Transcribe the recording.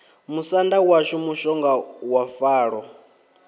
musanda washu mushonga wa falo